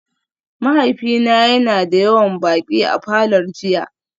Mahaifina yana da yawan baƙi a falor jiya